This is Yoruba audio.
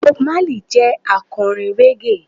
Bob Marley jẹ́ akọrin Reggae.